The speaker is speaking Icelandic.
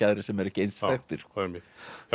aðrir sem eru ekki eins þekktir já